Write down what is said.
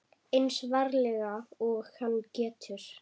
Eins varlega og hann getur.